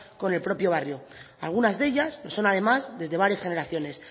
con el propio barrio algunas de ellas lo son además desde varias generaciones